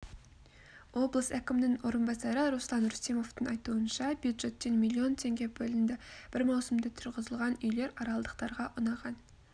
облыс әкімнің орынбасары руслан рүстемовтің айтуынша бюджеттен миллион теңге бөлінді бір маусымда тұрғызылған үйлер аралдықтарға ұнаған